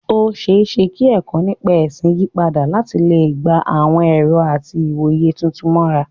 Ó ṣeé ṣe kí ẹ̀kọ́ nípa ẹ̀sìn yí padà láti lè gba àwọn ẹ̀rọ àti ìwòye tuntun mọ́ra.